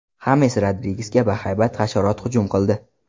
Xames Rodrigesga bahaybat hasharot hujum qildi .